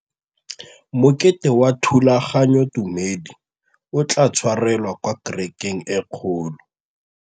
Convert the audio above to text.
Mokete wa thulaganyôtumêdi o tla tshwarelwa kwa kerekeng e kgolo.